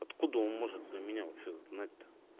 откуда он может за меня вообще знать то